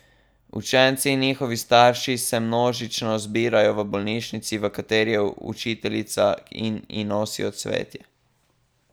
Učenci in njihovi starši se množično zbirajo v bolnišnici, v kateri je učiteljica, in ji nosijo cvetje.